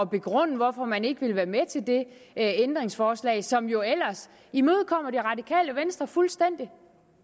begrunde hvorfor man ikke vil være med til det ændringsforslag som jo ellers imødekommer det radikale venstre fuldstændig